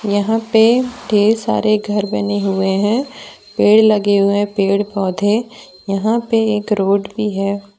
यहां पे ढेर सारे घर बने हुए हैं पेड़ लगे हुए हैं पेड़ पौधे यहां पे एक रोड भी है।